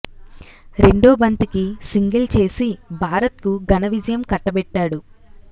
రెండో బంతికి సింగిల్ చేసి భారత్ కు ఘన విజయం కట్టబెట్టాడు